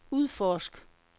udforsk